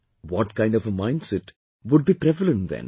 What kind of a mindset would be prevalent then